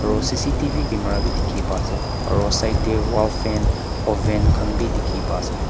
aro C_C_T_V camera bhi dikhi pai ase aro side teh wall fan ovan khan bhi dikhi pa ase.